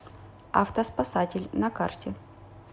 автоспасатель на карте